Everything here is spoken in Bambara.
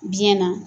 Biyɛn na